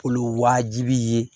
Olu waajibi ye